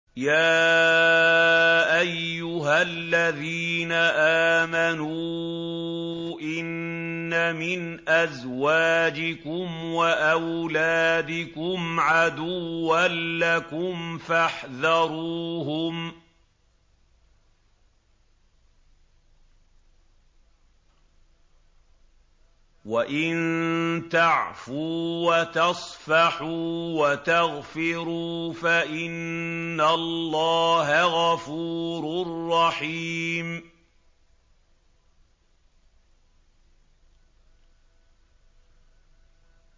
يَا أَيُّهَا الَّذِينَ آمَنُوا إِنَّ مِنْ أَزْوَاجِكُمْ وَأَوْلَادِكُمْ عَدُوًّا لَّكُمْ فَاحْذَرُوهُمْ ۚ وَإِن تَعْفُوا وَتَصْفَحُوا وَتَغْفِرُوا فَإِنَّ اللَّهَ غَفُورٌ رَّحِيمٌ